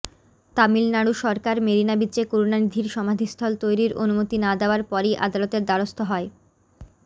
তামিলনাড়ু সরকার মেরিনা বিচে করুণানিধির সমাধিস্থল তৈরির অনুমতি না দেওয়ার পরই আদালতের দ্বারস্থ হয়